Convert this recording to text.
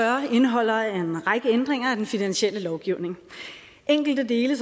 indeholder en række ændringer af den finansielle lovgivning og enkelte dele